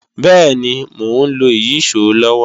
Bẹ́ẹ̀ni, mò ń lo ìyíṣòó lọ́wọ́